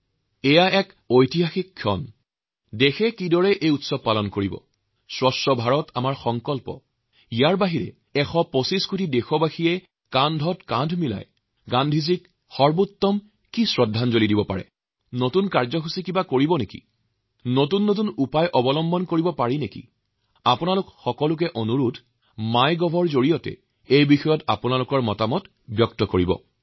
দেশবাসীয়ে কেনেদৰে এই জয়ন্তী উদ্যাপন কৰিব আমাৰ স্বচ্ছ ভাৰতৰ সংকল্পৰ উপৰি ১২৫ কোটি ভাৰতীয়ই একেলগে কিদৰে গান্ধীজীক সৰ্বোচ্চ শ্ৰদ্ধাঞ্জলি জ্ঞাপন কৰিব পাৰি কি কি নতুন কাৰ্যসূচী প্ৰস্তুত কৰিব পাৰি কি কি নতুন উপায় ভাবিব পৰা যায় আপোনালোকৰ ওচৰত অনুৰোধ আপোনালোকে mygovৰ জৰিয়তে আপোনালোকৰ চিন্তাভাৱনাবোৰ বিনিময় কৰক